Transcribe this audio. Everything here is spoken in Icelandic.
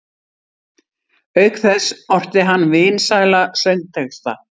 Auk þess orti hann vinsæla söngtexta.